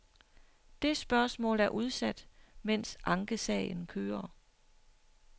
Det spørgsmål er udsat, mens ankesagen kører.